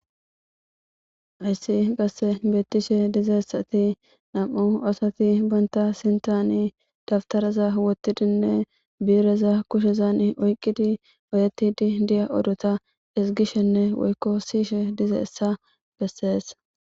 Hayssi qase bettishe dizayssatti nam'u asati bantta sinttani dawutaraza woottidinne bi'ireza kushshezan oyqidii bettidii diya ooratta ezgishenne woykko siyishe dizayssa besses